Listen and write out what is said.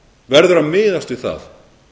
verður að miðast við það